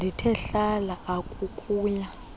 ndithe hlala akuukuya